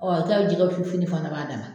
Ɔ tari jɛgɛ fu fini fana b'a dana